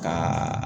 Ka